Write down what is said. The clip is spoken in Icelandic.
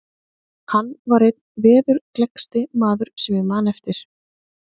Hann var einn veðurgleggsti maður sem ég man eftir.